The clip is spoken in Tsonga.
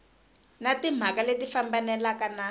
na timhaka leti fambelanaka na